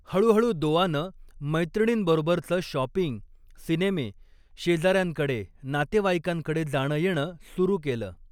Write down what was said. हळूहळू दोआनं मैत्रिणींबरोबरचं शॉपिंग, सिनेमे, शेजार्यांकडे, नातेवाईकांकडे जाणं येणं सुरु केलं.